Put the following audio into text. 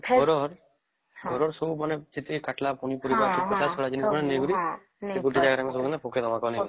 ଧରନ ଧର ଯେତକି କାଟିଲା ପନି ପରିବା ଚୋପା ତା ନେଇ କରି ଗୋଟେ ଜାଗାରେ ପକେଇ ଦବ